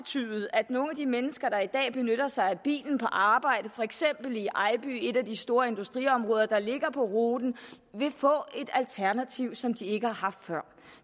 at nogle af de mennesker der i dag benytter sig af bilen på arbejde for eksempel i ejby et af de store industriområder der ligger på ruten vil få et alternativ som de ikke har haft før